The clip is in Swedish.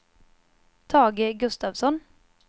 Tage Gustafsson